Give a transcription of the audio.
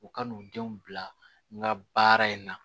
U ka n'u denw bila n ka baara in na